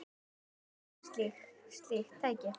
Dæmi um slík tæki